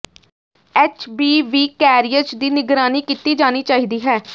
H B V carriers ਦੀ ਨਿਗਰਾਨੀ ਕੀਤੀ ਜਾਣੀ ਚਾਹੀਦੀ ਹੈ